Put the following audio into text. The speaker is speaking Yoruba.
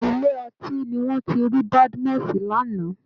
Ilé ọtí ni wọ́n ti rí Badmus lánàá